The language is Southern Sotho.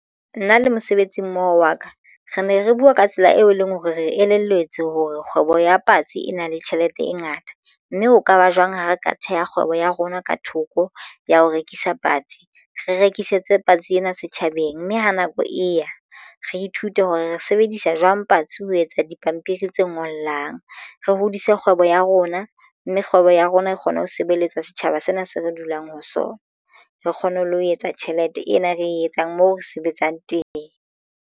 Nna le mosebetsi mmoho wa ka re ne re bua ka tsela eo e leng hore re elelletswe hore kgwebo ya patsi e na le tjhelete e ngata mme ho kaba jwang ha re ka theha kgwebo ya rona ka thoko ya ho rekisa patsi re rekisetse patsi ena setjhabeng mme ha nako e ya re ithute hore re sebedisa jwang patsi. Ho etsa dipampiri tse ngollang re hodise kgwebo ya rona mme kgwebo ya rona e kgone ho sebeletsa setjhaba sena se re dulang ho sona re kgone le ho etsa tjhelete ena e re etsang mo re sebetsang teng.